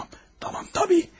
Tamam, tamam, tamam, tabii.